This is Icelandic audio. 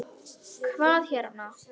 Hvað hérna.